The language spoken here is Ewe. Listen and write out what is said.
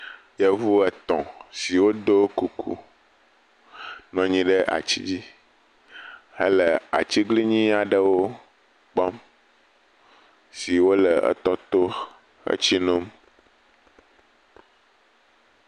Yevu etɔ siwo ɖo kuku nɔ nyi ɖe ati dzi hele atiglinyi aɖewo kpɔm siwo le etɔ to le tsi nom.